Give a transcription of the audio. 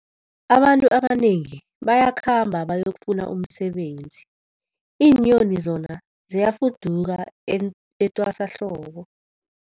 Abantu abanengi bayakhamba bayokufuna umsebenzi, iinyoni zona ziyafuduka etwasahlobo.